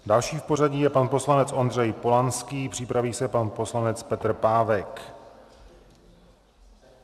Další v pořadí je pan poslanec Ondřej Polanský, připraví se pan poslanec Petr Pávek.